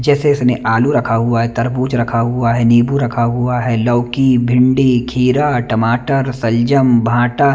जैसे इसने आलू रखा हुआ है तरबूज रखा हुआ है निम्बू रखा है लौकी बिंदी खीरा टमाटर सल्जम भाटा --